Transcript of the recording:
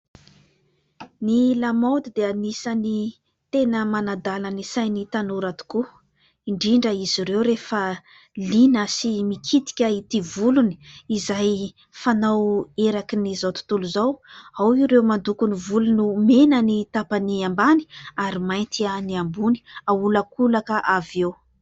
Ny lamaody dia anisan' ny tena manadala ny sain' ny tanora tokoa. Indrindra izy ireo rehefa liana sy mikitika ity volony izay fanao erak' izao tontolo izao. Ao ireo mandoko ny volony ho mena ny tapany ambany ary mainty ny ambony, aholakolaka avy eo.